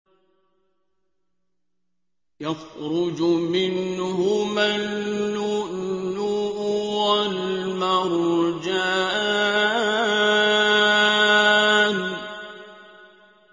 يَخْرُجُ مِنْهُمَا اللُّؤْلُؤُ وَالْمَرْجَانُ